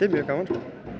mjög gaman